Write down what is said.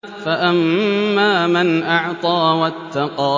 فَأَمَّا مَنْ أَعْطَىٰ وَاتَّقَىٰ